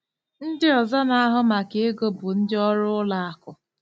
Ndị ọzọ na-ahụ maka ego bụ ndị ọrụ ụlọ akụ.